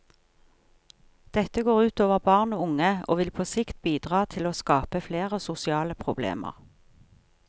Dette går ut over barn og unge og vil på sikt bidra til å skape flere sosiale problemer.